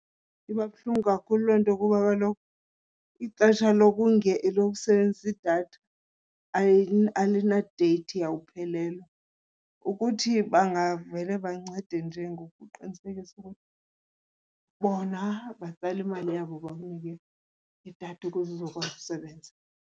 Iba buhlungu kakhulu loo nto kuba kaloku ixesha lokusebenzisa idatha alina-date yawuphelelwa. Ukuthi bangavele bancede nje ngokuqinisekisa ukuthi bona batsala imali yabo bakunike idatha ukuze uzokwazi usebenza.